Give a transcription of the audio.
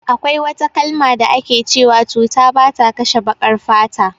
Akwai wata kalma da ake cewa cuta bata kashe baƙar fata